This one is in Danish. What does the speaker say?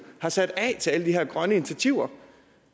har sat af til alle de her grønne initiativer